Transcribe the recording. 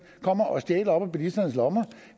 kommer og stjæler op af bilisternes lommer